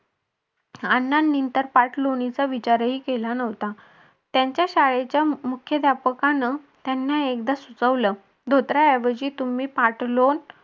अण्णांनी तर पार्टलोनाचा विचारही केला नव्हता. त्याच्या शाळेच्या मुख्याध्यापकांना त्यांना एकदा सुचवलं. धोतराऐवजी तुम्ही पार्टलोन